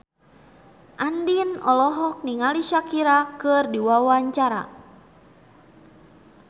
Andien olohok ningali Shakira keur diwawancara